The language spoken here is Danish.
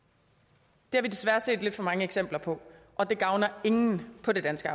det har vi desværre set lidt for mange eksempler på og det gavner ingen på det danske